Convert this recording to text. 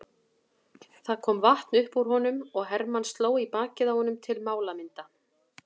Það kom vatn upp úr honum og Hermann sló í bakið á honum til málamynda.